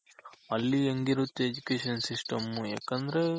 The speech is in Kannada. ಅಲ್ಲಿ ಹೆಂಗಿರುತ್ತೆ Education system ಯಾಕಂದ್ರೆ